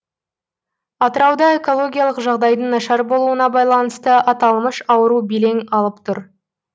атырауда экологиялық жағдайдың нашар болуына байланысты аталмыш ауру белең алып тұр